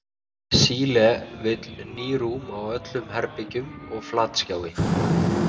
Síle vill ný rúm á öllum herbergjum og flatskjái.